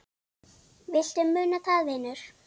Viltu muna það, vinur?